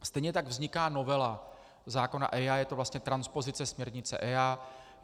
Stejně tak vzniká novela zákona EIA, je to vlastně transpozice směrnice EIA.